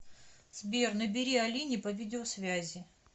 сбер набери алине по видеосвязи